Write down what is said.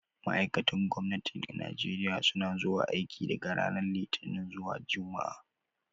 Ma'aikatan gwamnati a Najeriya suna zuwa aiki daga ranar Litinin zuwa Juma'a.